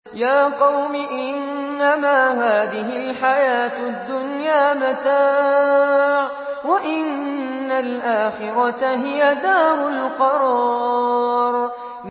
يَا قَوْمِ إِنَّمَا هَٰذِهِ الْحَيَاةُ الدُّنْيَا مَتَاعٌ وَإِنَّ الْآخِرَةَ هِيَ دَارُ الْقَرَارِ